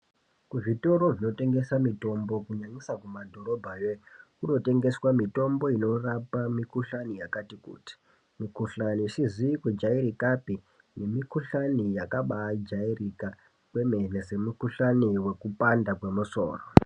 Ku zvitoro zvino tengesa mitombo ku nyanyisa ku madhorobha yo kunotengeswa mitombo inorapa mi kuhlani yakati kuti mi kuhlani isizi kujairikapi ne mikuhlani yakabai jairika kwemene se mikuhlani weku panda kwe musoro.